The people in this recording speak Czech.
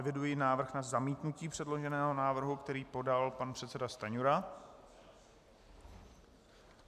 Eviduji návrh na zamítnutí předloženého návrhu, který podal pan předseda Stanjura.